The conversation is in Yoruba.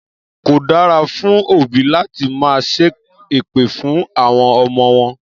Kò dára fún òbí láti máa ṣẹ́ èpè fún àwọn ọmọ wọn